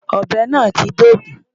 Ọ̀bẹ náà ti dógùn-ún.